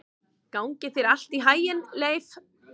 Gangi þér allt í haginn, Leif.